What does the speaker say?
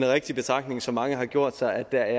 rigtig betragtning som mange har gjort sig at der